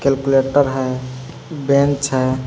Calculator हैं bench हैं।